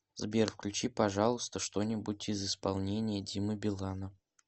сбер включи пожалуйста что нибудь из исполнения димы билана